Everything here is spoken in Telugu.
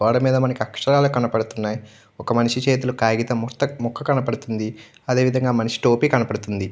గోడ మీద మనకి అక్షరాలు కనబడుతున్నయ్. ఒక మనిషి చేతిలో కాగితం ముక్త ముక్క కనబడుతుంది. అదే విధంగా మనిషి టోపీ కనబడుతోంది.